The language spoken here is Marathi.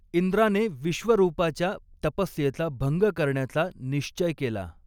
इंद्राने विश्वरूपाच्या तपस्येचा भंग करण्याचा निश्चय केला.